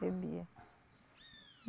Bebia.